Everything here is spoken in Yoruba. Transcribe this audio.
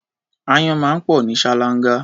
Áyán máa ń pọ̀ ní ṣáláńgá.